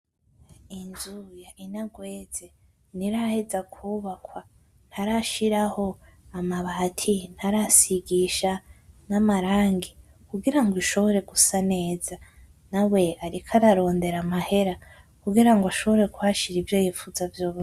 Inzu inagweze ntiraheza kubakwa, ntarashiraho amabati ntarasigisha n'amarangi. Kugira ngo ishobore gusa neza nawe ariko ara rondera amahera kugira ashobore kuhashira ivyo yifuza vyose.